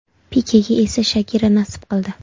Pikega esa Shakira nasib qildi.